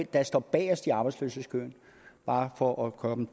der står bagest i arbejdsløshedskøen bare for at komme